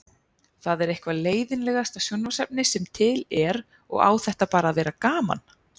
Það er eitthvað leiðinlegasta sjónvarpsefni sem til er og á þetta bara að vera gaman